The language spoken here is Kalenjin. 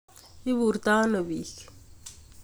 Iburto ano biik